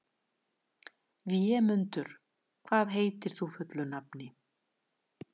Vémundur, hvað heitir þú fullu nafni?